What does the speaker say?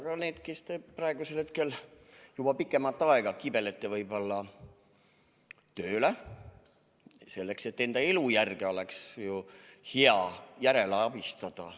Aga ka need, kes praegusel hetkel juba pikemat aega kibelevad tööle, sest enda elujärge oleks ju hea järjele saada!